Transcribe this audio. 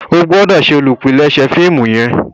o gbọdọ ṣe olùpilèsè fíìmù yen.